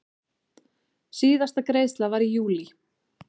Síðasta greiðsla var í júlí.